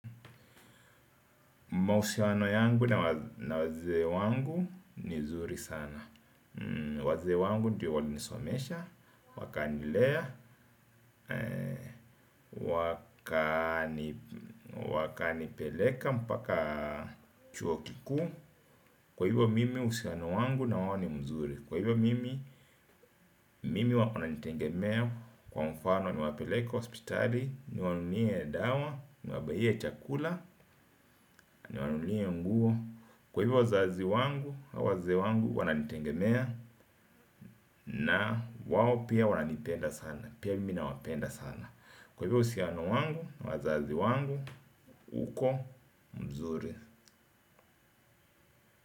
Mahusiano yangu na wazee wangu ni zuri sana. Wazee wangu ndio walinisomesha, wakanilea, wakanipeleka mpaka chuo kikuu. Kwa hivyo mimi uhusiano wangu na wao ni mzuri. Kwa hivyo mimi, mimi wako nanitegemeo kwa mfano niwapeleke hospitali, niwanunulie dawa, niwabahie chakula, niwanunulie nguo. Kwa hivyo wazazi wangu wazee wangu wananitegemea na wao pia wananipenda sana. Pia mimi nawapenda sana. Kwa hivyo uhusiano wangu wazazi wangu uko mzuri.